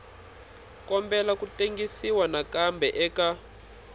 kombela ku tengisiwa nakambe eka